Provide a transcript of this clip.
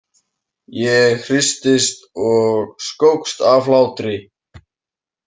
Ég hristist og skókst af hlátri.